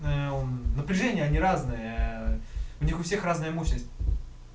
напряжения они разные у них у всех разная мощность